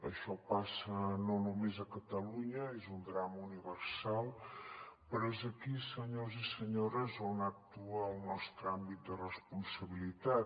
això passa no només a catalunya és un drama universal però és aquí senyors i senyores on actua el nostre àmbit de responsabilitat